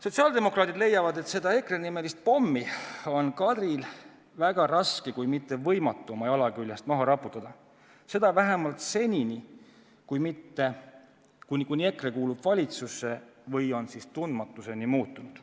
Sotsiaaldemokraadid leiavad, et seda EKRE-nimelist pommi on Kadril väga raske, kui mitte võimatu oma jala küljest maha raputada – seda vähemalt seni, kuni EKRE kuulub valitsusse või pole tundmatuseni muutunud.